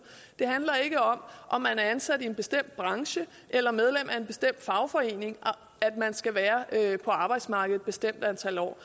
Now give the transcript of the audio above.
det handler ikke om om man er ansat i en bestemt branche eller medlem af en bestemt fagforening at man skal være på arbejdsmarkedet bestemt antal år